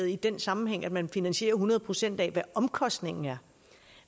i den sammenhæng at man finansierer hundrede procent af hvad omkostningen er